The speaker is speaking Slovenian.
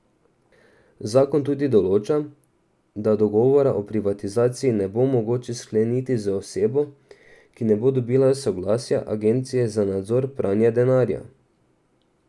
Zakon tudi določa, da dogovora o privatizaciji ne bo mogoče skleniti z osebo, ki ne bo dobila soglasja Agencije za nadzor pranja denarja.